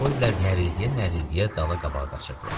Antrapoidlər nərildiyə-nərildiyə dala-qabağa qaçırdılar.